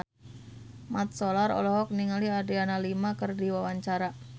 Mat Solar olohok ningali Adriana Lima keur diwawancara